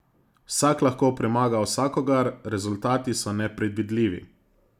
Vsak lahko premaga vsakogar, rezultati so nepredvidljivi.